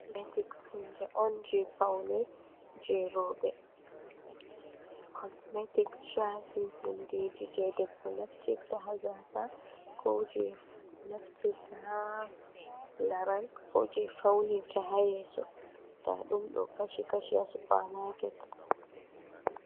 Cosmetic hunde on je Pawnee je rowɓe, cosmetic shafi hundeji je debbo naftirta ha gasa, ko je naftirta haa laral, ko je faunirta ha yesso ndaɗum do kashi kashi ha supmaket.